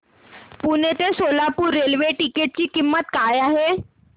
पुणे ते Solapur railway ticket ची किंमत काय आहे